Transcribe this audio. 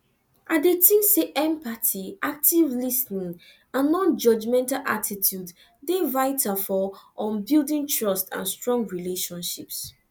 i dey think say empathy active lis ten ing and nonjudgmental attitude dey vital for um building trust and strong relationships